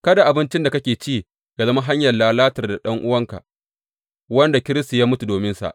Kada abincin da kake ci yă zama hanyar lalatar da ɗan’uwanka wanda Kiristi ya mutu dominsa.